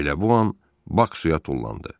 Elə bu an Bak suya tullandı.